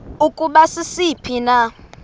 ukuba sisiphi na